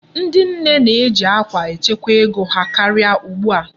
Ndị nne na-eji akwa echekwa ego ha karịa ugbu a.